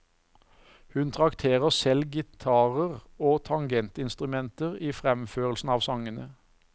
Hun trakterer selv gitarer og tangentinstrumenter i fremførelsen av sangene.